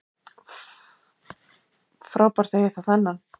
Frábært að hitta þennan